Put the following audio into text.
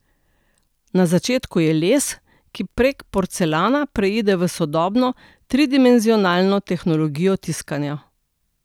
Na začetku je les, ki prek porcelana preide v sodobno, tridimenzionalno tehnologijo tiskanja.